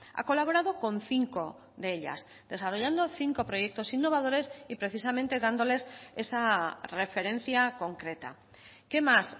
ha colaborado con cinco de ellas desarrollando cinco proyectos innovadores y precisamente dándoles esa referencia concreta qué más